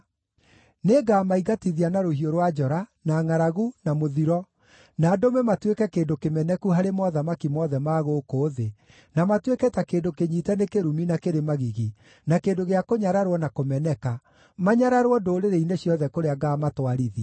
Nĩngamaingatithia na rũhiũ rwa njora, na ngʼaragu, na mũthiro, na ndũme matuĩke kĩndũ kĩmeneku harĩ mothamaki mothe ma gũkũ thĩ, na matuĩke ta kĩndũ kĩnyiite nĩ kĩrumi na kĩrĩ magigi, na kĩndũ gĩa kũnyararwo na kũmeneka, manyararwo ndũrĩrĩ-inĩ ciothe kũrĩa ngaamatwarithia.